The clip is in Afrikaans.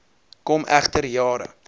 kom egter jare